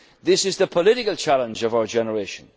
of our generation. This is the political challenge